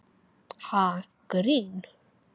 Ha, grín?